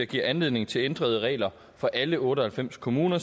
giver anledning til ændrede regler for alle otte og halvfems kommuner